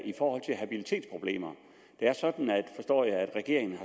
i forhold til habilitetsproblemer det er sådan forstår jeg at regeringen